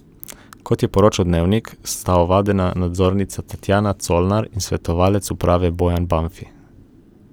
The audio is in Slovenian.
Kot je poročal Dnevnik, sta ovadena nadzornica Tatjana Colnar in svetovalec uprave Bojan Banfi.